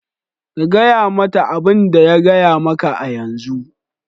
Ka gaya mata abin da ya gaya maka a yanzu.